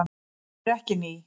Þau eru ekki ný.